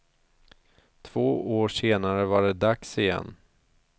Två år senare var det dags igen.